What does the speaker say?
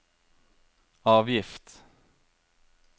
avgift